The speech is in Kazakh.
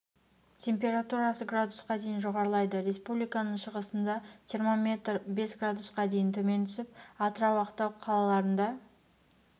температурасы градусқа дейін жоғарылайды республиканың шығысында термометр бес градусқа дейін төмен түсіп атырау ақтау қалаларында